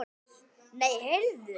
Nei, heyrðu!